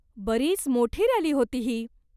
बरीच मोठी रॅली होती ही.